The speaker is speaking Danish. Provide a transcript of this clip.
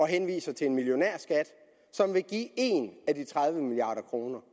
henviser til en millionærskat som vil give en af de tredive milliard kroner